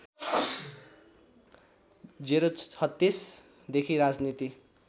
०३६ देखि राजनीति